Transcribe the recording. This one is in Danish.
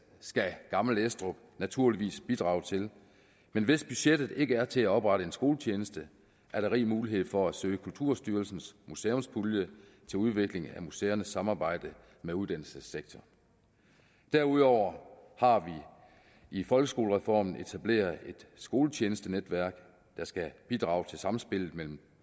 skal gammel estrup naturligvis bidrage til men hvis budgettet ikke er til at oprette en skoletjeneste er der rig mulighed for at søge kulturarvsstyrelsens museumspulje til udviklingen af museernes samarbejde med uddannelsessektoren derudover har vi i folkeskolereformen etableret et skoletjenestenetværk der skal bidrage til samspillet mellem